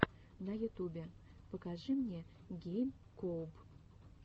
на ютубе покажи мне гейм коуб